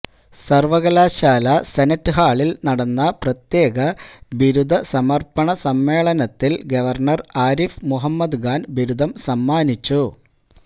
സർവകലാശാല സെനറ്റ് ഹാളിൽ നടന്ന പ്രത്യേക ബിരുദസമർപ്പണ സമ്മേളനത്തിൽ ഗവർണർ ആരിഫ് മുഹമ്മദ്ഖാൻ ബിരുദം സമ്മാനിച്ചു